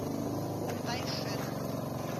тайшет